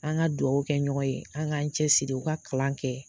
An ka duwaw kɛ ɲɔgɔn ye an k'an cɛ siri u ka kalan kɛ